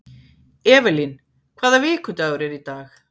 Evelyn, hvaða vikudagur er í dag?